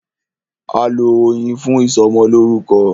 A lọ Oyin fún ìsọmọlórúkọ.